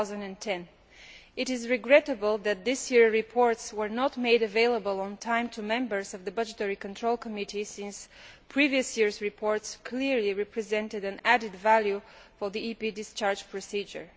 2010. It is regrettable that this year reports were not made available on time to members of the Committee on Budgetary Control since previous years' reports clearly represented an added value for the EP discharge procedure.